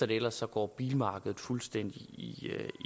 det ellers går bilmarkedet fuldstændig i